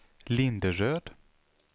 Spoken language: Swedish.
Linderöd